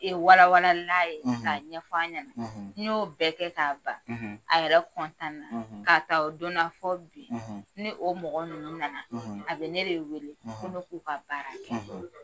Ye walawala n'a ye , ka ɲɛfɔ a ɲana , n y'o bɛɛ kɛ ka ban , a yɛrɛ kɔntan na. Ka taa o don na fɔ bin , ni o mɔgɔ nunnu nana , a be ne weele ko ne k'u ka baara kɛ .